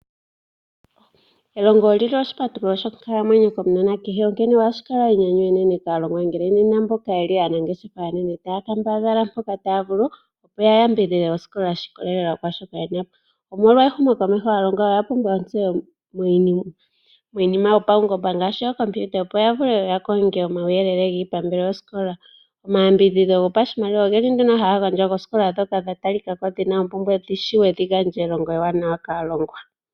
Elongo oli li oshipatululo shonkalamwenyo kokanona kehe, onkene ohashi kala enyanyu enene kaalongwa ngele aanangeshefa aanene taya kambadhala mpoka taya vulu, opo ya yambidhidhe osikola naashoka ye na po. Omolwa ehumokomeho, aalongwa oya pumbwa ontseyo miinima yopaungomba ngaashi ookompiuta, opo ya vule ya konge omauyelele giipambele yosikola. Omayambidhidho gopashimaliwa ohaga gandjwa koosikola ndhoka dha tali ka ko dhi li mompumbwe, dhi shiwe dhi gandje elongo ewanawa kaalongwa.